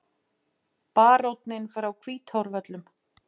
BARÓNINN FRÁ HVÍTÁRVÖLLUM